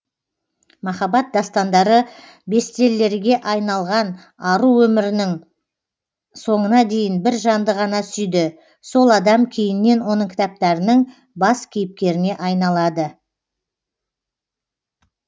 махаббат дастандары бестеллерге айналған ару өмірінің соңына дейін бір жанды ғана сүйді сол адам кейіннен оның кітаптарының бас кейіпкеріне айналады